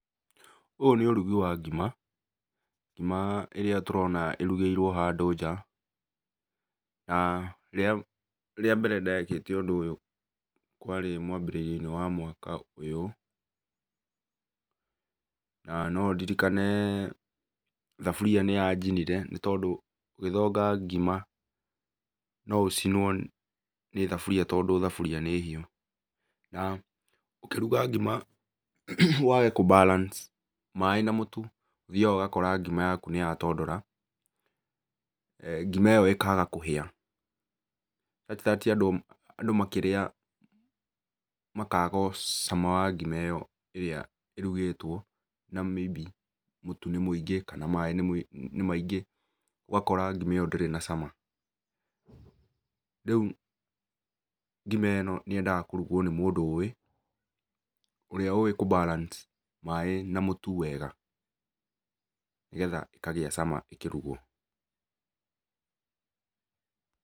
ũyũ nĩ ũrugi wa ngima, ngima ĩrĩa tũrona ngima ĩrĩa ĩrugĩirũo handũ nja. Rĩa mbere ndekĩte ũndũ ũyũ kwarĩ mwambĩrĩrioinĩ wa mwaka ũyũ. Na no ndirikane thabũria nĩ yanjinire nĩ tondũ ũgĩthonga ngima no ũcinwo nĩ thabũria tondũ thabũria nĩ hiũ. Na ũkĩruga ngima wage kũ balance maĩ na mũtu ũthiaga ũgakora ngima yaku nĩyatondora. Ngima ĩyo ĩkaga kũhĩa. Andũ makĩrĩa makaga cama wa ngima ĩyo ĩrĩa ĩrugĩtwo na maybe, mũtu nĩ mũingĩ kana maĩ nĩ maingĩ. Ũgakora ngima ĩyo ndĩrĩ na cama. Rĩu ngima ĩno niyendaga kũrugwo nĩ mũndũ ũrĩa ũĩ kũ balance maĩ na mũtu wega nĩgetha ĩkagĩa cama ikĩrugwo.